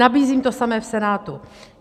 Nabízím to samé v Senátu.